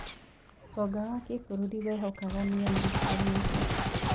ũtonga wa bũrũri wehokaga mĩena ĩtiganĩte.